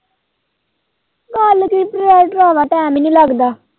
Laboratory ਆਏ ਭਰਾਵਾਂ time ਨੀ ਲੱਗਦਾ।